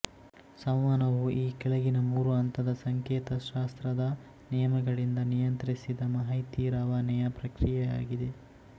ಸಂವಹನವು ಈ ಕೆಳಗಿನ ಮೂರು ಹಂತದ ಸಂಕೇತ ಶಾಸ್ತ್ರದ ನಿಯಮಗಳಿಂದ ನಿಯಂತ್ರಿಸಿದ ಮಾಹಿತಿ ರವಾನೆಯ ಪ್ರಕ್ರಿಯೆಯಾಗಿದೆ